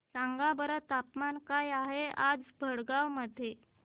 सांगा बरं तापमान काय आहे आज भडगांव मध्ये